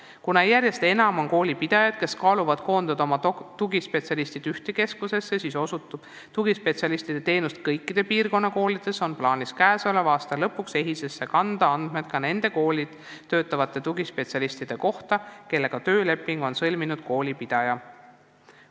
Kuna järjest enam on koolipidajaid, kes kaaluvad ettepanekut koondada tugispetsialistid ühte keskusesse, kus osutatakse teenust kõikidele piirkonnakoolidele, on plaanis käesoleva aasta lõpuks EHIS-esse kanda andmed ka nende koolis töötavate tugispetsialistide kohta, kellega on töölepingu sõlminud koolipidaja.